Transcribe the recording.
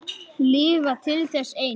Lifa til þess eins.